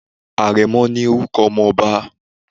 Àrẹ̀mo ni Orúko ọmọ ọba